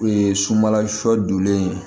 sunbala shɔ donlen